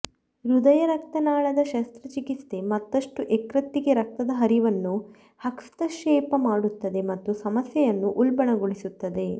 ಹೃದಯರಕ್ತನಾಳದ ಶಸ್ತ್ರಚಿಕಿತ್ಸೆ ಮತ್ತಷ್ಟು ಯಕೃತ್ತಿಗೆ ರಕ್ತದ ಹರಿವನ್ನು ಹಸ್ತಕ್ಷೇಪ ಮಾಡುತ್ತದೆ ಮತ್ತು ಸಮಸ್ಯೆಯನ್ನು ಉಲ್ಬಣಗೊಳಿಸುತ್ತದೆ